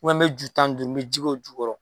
N mɛ ju tan don n mɛ ji k'o ju k'o jukɔrɔ